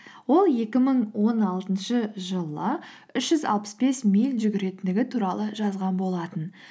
ол екі мың он алтыншы жылы үш жүз алпыс бес миль жүгіретіндігі туралы жазған болатын